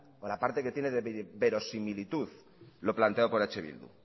o la parte que tiene de verosimilitud lo planteado por eh bildu